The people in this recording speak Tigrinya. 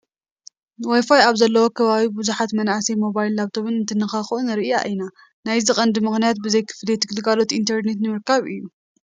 ዋይፋይ ኣብ ዘለዎ ከባቢ ብዙሓት መናእሰይ ሞባይልን ላፕቶፕን እንትነካኽኡ ንርኢ ኢና፡፡ ናይዚ ቀንዲ ሞኽንያት ብዘይ ክፍሊት ግልጋሎት ኢንተርኔት ንምርካብ እዩ፡፡